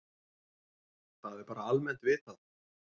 Það er bara almennt vitað.